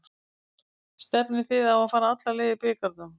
Stefnið þið á að fara alla leið í bikarnum?